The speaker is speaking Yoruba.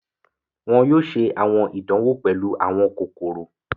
Wọn yóò ṣe àwọn ìdanwo pẹlu àwọn kokoro.